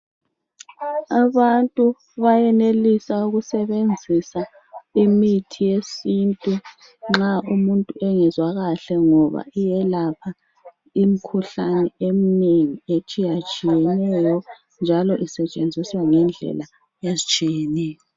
Abantu bayenelisa ukusebenzisa imithi yesintu nxa umuntu engezwa kahle ngoba iyelapha imkhuhlane eminengi etshiyatshiyeneyo njalo isetshenziswa ngendlela ezitshiyeneyo.